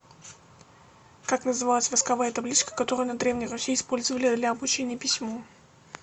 как называлась восковая табличка которую на древней руси использовали для обучения письму